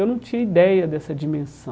Eu não tinha ideia dessa dimensão.